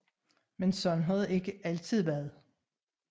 Men sådan har det ikke altid været